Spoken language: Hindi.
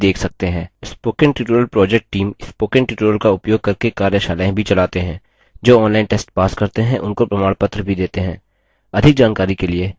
spoken tutorial project team spoken tutorial का उपयोग करके कार्यशालाएँ भी चलाते हैं जो online test pass करते हैं उनको प्रमाणपत्र भी देते हैं